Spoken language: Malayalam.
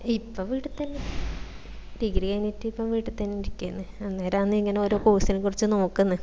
ഇപ്പം വീട്ട് തന്നെ degree കഴിഞ്ഞിട്ട് ഇപ്പം വീട്ട് തന്നെ ഇരിക്കെന്ന് അന്നെരന്ന് ഇങ്ങനെ ഓരോ course നെ കുറിച് നോക്കിന്ന്